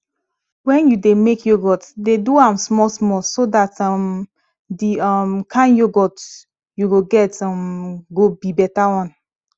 when you dey make yoghurt dey do am small small so dat um the um kind yoghurt you go get um go be better one